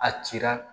A cira